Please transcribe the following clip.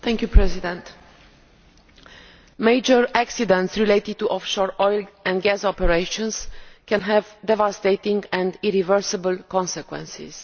Mr President, major accidents related to offshore oil and gas operations can have devastating and irreversible consequences.